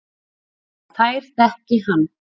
Og þær þekki hann.